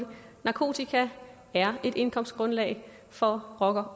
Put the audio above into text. narkotika er et indkomstgrundlag for rocker